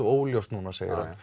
óljóst núna